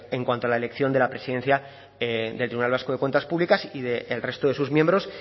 en cuanto a la elección de la presidencia del tribunal vasco de cuentas públicas y del resto de sus miembros